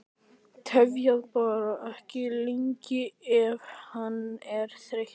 Tefjið bara ekki lengi ef hann er þreyttur